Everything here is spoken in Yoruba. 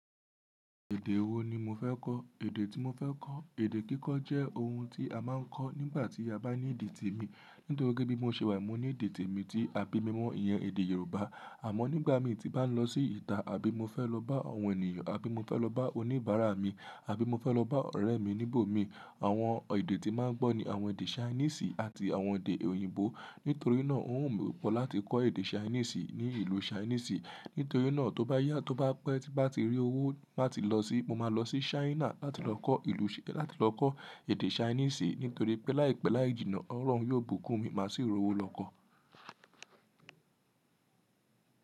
Èdè wo ni mo fẹ́ kọ̀? Èdè tí mo fẹ́ kọ̀, èdè kíkọ jẹ́ ohun tí a máa ń kọ́ nígbà tí a bá ní ìdí tèmi. Nítorí pé bí mo ṣe wà mo ní ede tèmi tí a bí mi mọ iyẹn èdè Yorùbá. Àmọ́ nígbà mí tí bá ń lọ sí ìta àbí mo fẹ́ lọ bá àwọn ènìyàn, àbí mo fẹ́ lọ bá oníbàárà mi, àbí mo fẹ́ lọ bá ọ̀rẹ́ mi níbòmí, àwọn èdè tí máa ń gbọ́ ni àwọn èdè Chinese àti àwọn èdè òyìnbó. Nítorí náà ó wù mí pọ̀ láti kọ́ èdè Chinese ní ìlú Chinese. Nítorí náà tó bá yá, tó bá pẹ́, tí bá ti rí owó má ti lọ sí, mo máa lọ sí China láti lọ kọ́ ìlú, láti lọ kọ́ èdè Chinese. Nítorí pé láìpẹ́ láì jìnnà, ọ̀lọ̀run yóò bùkún mi, màá sì r'owó lọ kọ́.